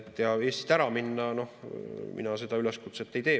Ja Eestist ära minna – no mina seda üleskutset ei tee.